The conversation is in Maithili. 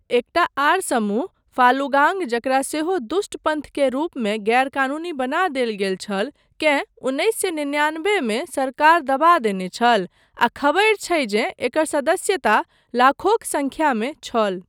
एकटा आर समूह, फालुगांग, जकरा सेहो "दुष्ट पन्थ" के रूपमे गैरकानूनी बना देल गेल छल, केँ उन्नैस सए निन्यानबेमे सरकार दबा देने छल आ खबरि छै जे एकर सदस्यता लाखोक संख्यामे छल।